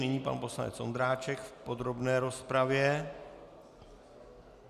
Nyní pan poslanec Vondráček v podrobné rozpravě.